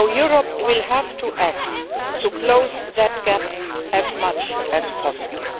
Europe will have to act to close that gap as much as possible.